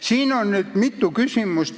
Siin on nüüd mitu küsimust.